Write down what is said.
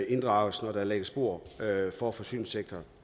inddrages når der lægges spor for forsyningssektoren